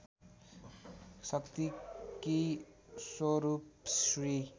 शक्तिकी स्वरूप श्री